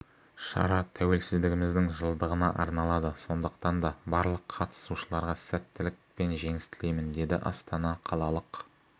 шара тәуелсіздігіміздің жылдығына арналады сондықтан да барлық қатысушыларға сәттілік пен жеңіс тілеймін деді астана қалалық